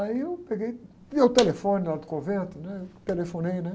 Aí eu peguei, deu o telefone lá do convento, né? Telefonei, né?